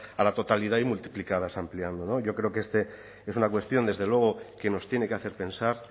a la totalidad y multiplicadas ampliando yo creo que esta es una cuestión desde luego que nos tiene que hacer pensar